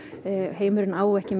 heimurinn á ekki